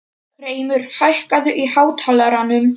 Hreimur, hækkaðu í hátalaranum.